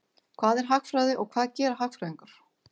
Hvað er hagfræði og hvað gera hagfræðingar?